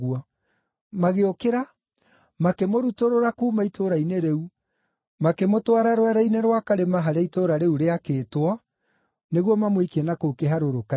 Magĩũkĩra makĩmũrutũrũra kuuma itũũra-inĩ rĩu, makĩmũtwara rwere-inĩ rwa karĩma harĩa itũũra rĩu rĩakĩtwo, nĩguo mamũikie na kũu kĩharũrũka-inĩ.